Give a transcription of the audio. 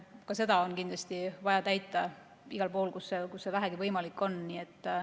Ka seda on kindlasti vaja teha igal pool, kus see vähegi võimalik on.